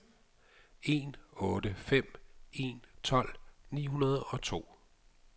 en otte fem en tolv ni hundrede og to